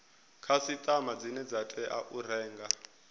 khasiṱama dzine dza tea u